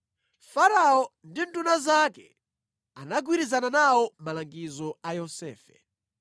Farao ndi nduna zake anagwirizana nawo malangizo a Yosefe.